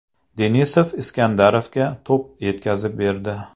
Denisov Iskandarovga to‘p yetkazib berdi.